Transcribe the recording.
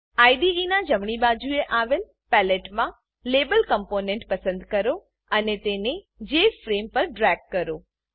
આઈડીઈનાં જમણી બાજુએ આવેલ પેલેટમાં લાબેલ લેબલ કમ્પોનેંટ પસંદ કરો અને તેને જેએફઆરએમઈ જેફ્રેમ પર ડ્રેગ કરો